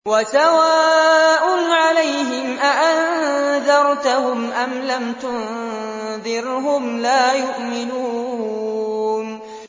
وَسَوَاءٌ عَلَيْهِمْ أَأَنذَرْتَهُمْ أَمْ لَمْ تُنذِرْهُمْ لَا يُؤْمِنُونَ